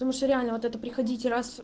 потому что реально вот это приходите раз